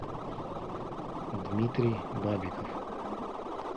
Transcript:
дмитрий бабиков